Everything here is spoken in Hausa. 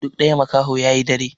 Duk ɗaya makaho ya yi dare.